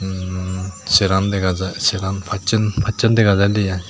umm seran dega jai seran pacchen dega jaide ai.